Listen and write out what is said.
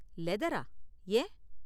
லெதரா? ஏன்?